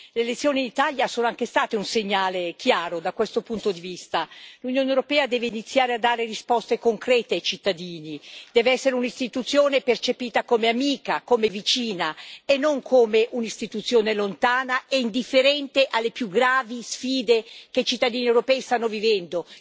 Le elezioni in Italia sono anche state un segnale chiaro da questo punto di vista l'Unione europea deve iniziare a dare risposte concrete ai cittadini, deve essere un'istituzione percepita come amica, come vicina, e non come un'istituzione lontana e indifferente alle più gravi sfide che i cittadini europei stanno vivendo.